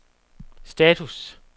status